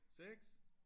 6